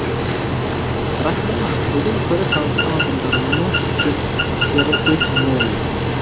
расымен ақ бүгін көріп танысқан адамдарымның жетістіктері өте мол екен